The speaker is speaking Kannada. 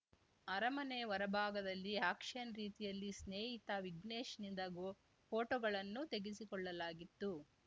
ಅರಮನೆ ಹೊರ ಭಾಗದಲ್ಲಿ ಆಕ್ಷನ್‌ ರೀತಿಯಲ್ಲಿ ಸ್ನೇಹಿತ ವಿಘ್ನೇಶ್‌ನಿಂದ ಗೋ ಫೋಟೋಗಳನ್ನು ತೆಗೆಸಿಕೊಳ್ಳಲಾಗಿತ್ತು